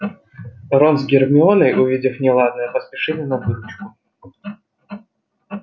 рон с гермионой увидев неладное поспешили на выручку